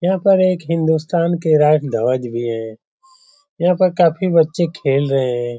यहाँ पे हिन्दुस्थान के एक राष्ट्रध्वज भी है यहाँ पर काफी बच्चे खेल रहे हैं ।